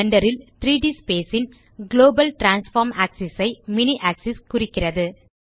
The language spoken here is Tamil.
பிளெண்டர் ல் 3ட் ஸ்பேஸ் ன் குளோபல் டிரான்ஸ்ஃபார்ம் ஆக்ஸிஸ் ஐ மினி ஆக்ஸிஸ் குறிக்கிறது